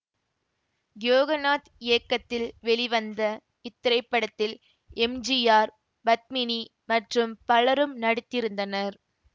யோகநாத் இயக்கத்தில் வெளிவந்த இத்திரைப்படத்தில் எம் ஜி ஆர் பத்மினி மற்றும் பலரும் நடித்திருந்தனர்